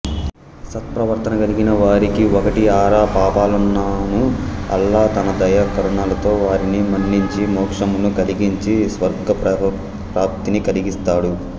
సత్ప్రవర్తనగలవారికి ఒకటీ అరా పాపాలున్ననూ అల్లాహ్ తన దయ కరుణతో వారిని మన్నించి మోక్షమును కల్గించి స్వర్గప్రాప్తిని కలిగిస్తాడు